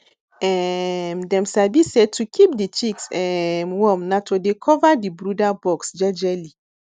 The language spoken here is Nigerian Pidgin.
um dem sabi say to keep di chicks um warm na to dey cover di brooder box jejely